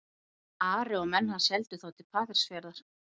Ari og menn hans héldu þá til Patreksfjarðar.